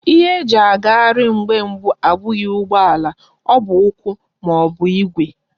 Ihe eji agaghari mgbe mbu abughi ugbo ala, o bu ukwu ma ọ bụ Igwe.